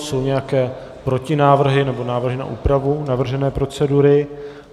Jsou nějaké protinávrhy nebo návrhy na úpravu navržené procedury?